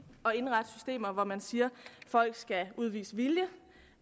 at indrette systemer hvor man siger at folk skal udvise vilje